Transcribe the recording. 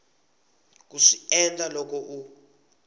ku swi endla loko u